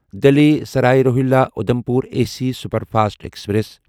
Delhi Sarai Rohilla Udhampur AC superfast express